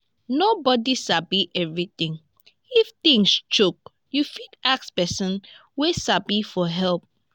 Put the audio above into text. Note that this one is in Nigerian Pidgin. nobody sabi everything if things choke you fit ask person wey sabi for help